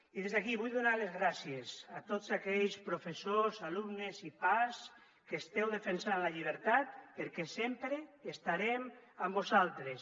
i des d’aquí vull donar les gràcies a tots aquells professors alumnes i pas que esteu defensant la llibertat perquè sempre estarem amb vosaltres